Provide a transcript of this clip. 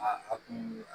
Aa a kun